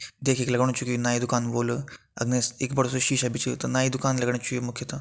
देख के लग्णु छु कि ये नाई की दुकान होल अर निस एक बडू सी शीशा भी छ त नाई की दुकान लग्णी ये मुख्यतः।